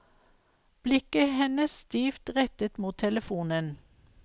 Blikket hennes stivt rettet mot telefonen.